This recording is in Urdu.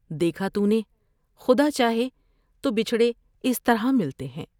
دیکھا تو نے ، خدا چاہے تو بچھڑے اس طرح ملتے ہیں ۔